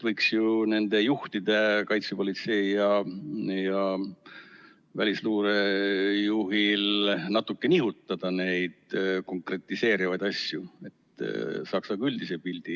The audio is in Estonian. Võiks ju ka kaitsepolitsei ja välisluure juhi puhul natuke nihutada konkretiseerivaid asju, et saaks üldise pildi.